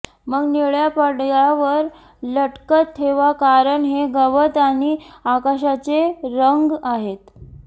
मग निळ्या पडद्यावर लटकत ठेवा कारण हे गवत आणि आकाशाचे रंग आहेत